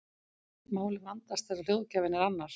Málið vandast þegar hljóðgjafinn er annar.